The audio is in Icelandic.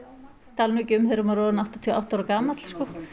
tala nú ekki um þegar maður er orðinn áttatíu og átta ára gamall